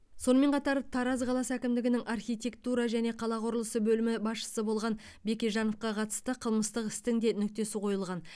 сонымен қатар тараз қаласы әкімдігінің архитектура және қала құрылысы бөлімінің басшысы болған бекежановқа қатысты қылмыстық істің де нүктесі қойылған